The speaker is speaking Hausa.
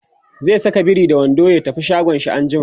zai Saka biri da wando ya tafi shagon shi anjima